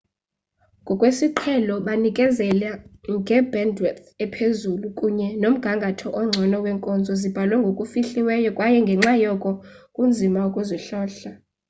ngokwesiqhelo banikezela nge-bandwidth ephezulu kunye nomgangatho ongcono wenkonzo zibhalwe ngokufihliweyo kwaye ngenxa yoko kunzima ukuzihlola